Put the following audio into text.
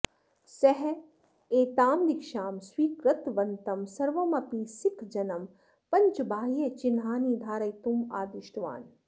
सः एतां दीक्षां स्वीकृतवन्तं सर्वमपि सिक्खजनं पञ्चबाह्यचिह्नानि धारयितुं आदिष्टवान्